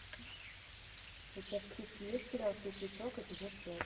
у тебя в списке есть сериал светлячок эпизод пять